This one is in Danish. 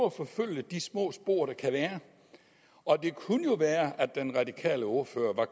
at forfølge de små spor der kan være og det kunne jo være at den radikale ordfører